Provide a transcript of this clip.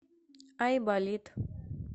айболит